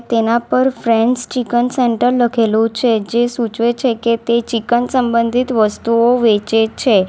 તેના પર friends chicken centre લખેલું છે જે સૂચવે છે કે તે ચિકન સંબંધિત વસ્તુઓ વેચે છે.